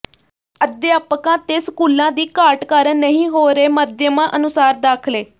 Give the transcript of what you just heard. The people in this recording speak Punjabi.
ਅਧਿਆਪਕਾਂ ਤੇ ਸਕੂਲਾਂ ਦੀ ਘਾਟ ਕਾਰਨ ਨਹੀਂ ਹੋ ਰਹੇ ਮਾਧਿਅਮਾਂ ਅਨੁਸਾਰ ਦਾਖਲੇ